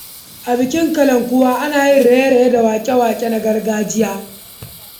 A bikin Kalankuwa, ana yin raye-raye da waƙoƙi na gargajiya.